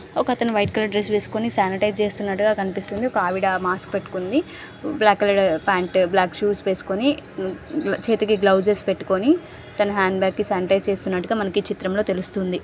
ఒకతను white colour dress వేసుకొని sanitize చేస్తున్నట్టుగా కనిపిస్తుంది ఒక ఆవిడ మాస్క్ పెట్టుకుంది black colour pant black shoes వేసుకొని చేతికి గ్లౌజెస్ పెట్టుకొని తన హ్యాండ్ బ్యాగ్ కి శానిటైజ్ చేస్తున్నట్టుగా మనకి ఈ చిత్రంలో తెలుస్తుంది.